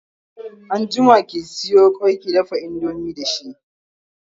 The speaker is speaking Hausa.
anjima ki Sayo kwai kundafa indomie da shi!